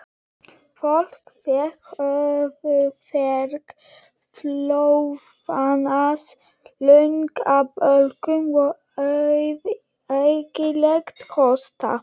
Fólk fékk höfuðverk, blóðnasir, lungnabólgu og ægilegan hósta.